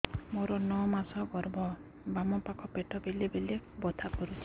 ମୋର ନଅ ମାସ ଗର୍ଭ ବାମ ପାଖ ପେଟ ବେଳେ ବେଳେ ବଥା କରୁଛି